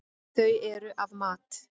Þau eru af mat.